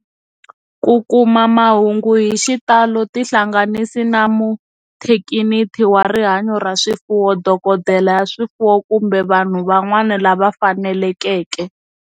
Ku kuma mahungu hi xitalo tihlanganisi na muthekiniki wa rihanyo ra swifuwo, dokodela ya swifuwo, kumbe vanhu van'wana lava fanelekeke.